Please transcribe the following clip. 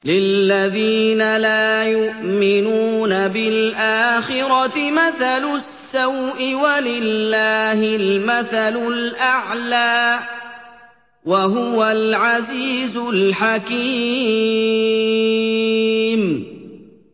لِلَّذِينَ لَا يُؤْمِنُونَ بِالْآخِرَةِ مَثَلُ السَّوْءِ ۖ وَلِلَّهِ الْمَثَلُ الْأَعْلَىٰ ۚ وَهُوَ الْعَزِيزُ الْحَكِيمُ